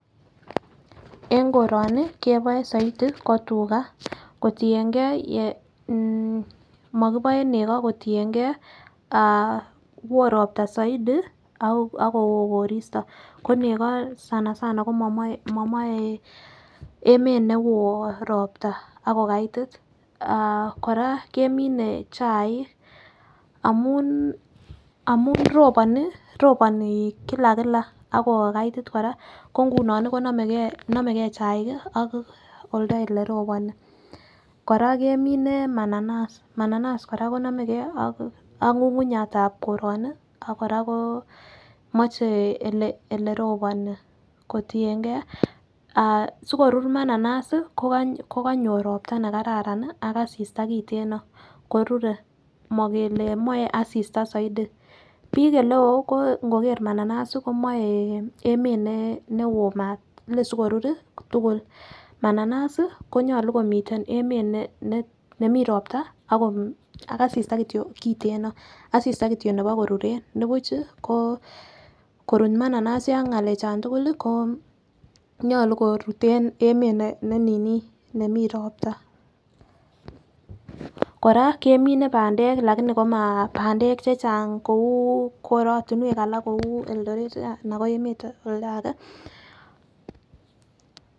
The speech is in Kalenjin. En koroni keboe soiti ko tugaa kotiyengee ye mokiboe neko kotiyengee ah woo ropta soidi ako woo koristo ako neko sanasana komomoi momoi emet ne woo ropta ak kokaitit. Ah Koraa kemine chaik amun amun roponi roponii kila kila akokaiti Koraa ko ngunon konomegee chaik kii ak oldo oleroboni. Koraa kemine mananas, mananas Koraa konomegee ak ngungunyatab koroni ak Koraa ko moche ole roponi kotiyengee ah sikorur mananas sii ko konyor ropta nekararan nii ak asista kiteno ko rure mokele moe asista soidi . Bik oleo ko ngokee mananas komie en emet newoo mat lesikoror tukul. Mananas sii konyolu komiten emet ne nemii ropta ak asista kityok kiteno, asista kityok nebo kororen nibuchi konkorut mananas yon ngalek chon tukul lii ko nyolu korut en emet ne nemii nemii ropta. Koraa kemine pandek lakini komara pandek chechang kou korotunwek alak kou Eldoret anan ko emet oldage.